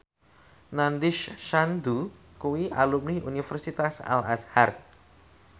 Nandish Sandhu kuwi alumni Universitas Al Azhar